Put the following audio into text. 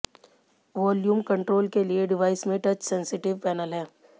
volume control के लिए device में टच सेंसिटिव पैनल है